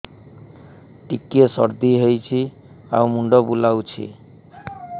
ଟିକିଏ ସର୍ଦ୍ଦି ହେଇଚି ଆଉ ମୁଣ୍ଡ ବୁଲାଉଛି